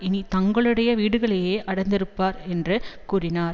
இனி தங்களுடைய வீடுகளிலேயே அடைந்திருப்பர் என்று கூறினார்